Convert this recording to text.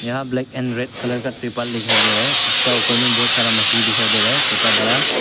यहां black and red colour का तिरपाल दिखाई दे रहा है उसका ऊपर में बहुत सारा मछली दिखाई दे रहा है छोटा बड़ा।